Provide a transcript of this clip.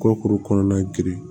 Kɔkuru kɔnɔna girin